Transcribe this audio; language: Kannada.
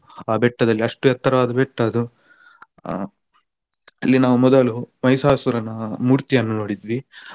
ಆ ಬೆಟ್ಟದಲ್ಲಿ ಅಷ್ಟು ಎತ್ತರವಾದ ಬೆಟ್ಟ ಅದು. ಆ ಅಲ್ಲಿ ನಾವು ಮೊದಲು ಮೈಸಾಸುರನ ಮೂರ್ತಿಯನ್ನು ನೋಡಿದ್ವಿ.